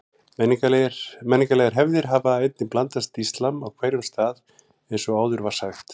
Menningarlegar hefðir hafa einnig blandast íslam á hverjum stað eins og áður var sagt.